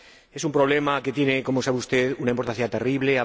Es un problema que tiene, como sabe usted, una importancia terrible.